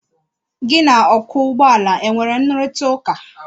Gị na ọkwọ ụgbọala e nwere nrụrịtaụ́ká?